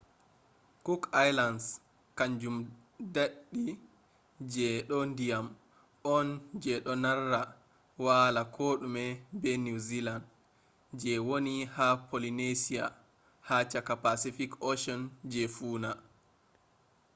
cook islands kanjum deddi je do ndiyam on je do narra wala kodume be new zealand je woni ha polynesia ha chaka pacific ocean je funa